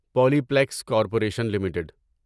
Polyplex corporation limited